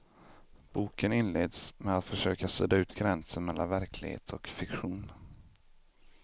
Boken inleds med att försöka sudda ut gränsen mellan verklighet och fiktion.